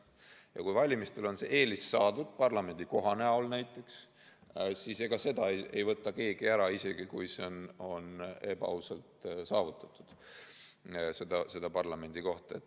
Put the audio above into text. Ja kui valimistel on see eelis saadud, näiteks parlamendikohana, siis ega seda ei võta keegi ära, isegi kui see parlamendikoht on ebaausalt saadud.